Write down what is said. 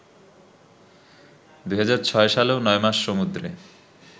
২০০৬ সালেও নয়মাস সমুদ্রে